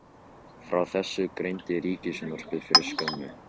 Frá þessu greindi Ríkissjónvarpið fyrir skömmu